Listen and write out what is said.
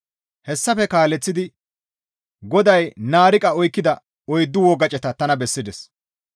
Hessafe kaaleththidi GODAY naariqa oykkida oyddu wogaceta tana bessides.